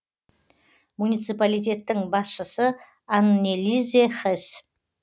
муниципалитеттің басшысы аннелизе хес